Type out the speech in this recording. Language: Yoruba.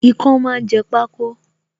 Ikán máa ń jẹ pako